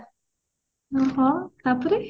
ହଁ ତାପରେ